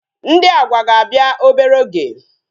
Ndị Agwa ga-abịa obere oge